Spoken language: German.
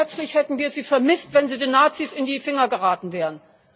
Wie schmerzlich hätten wir sie vermisst, wenn sie den Nazis in die Finger geraten wären?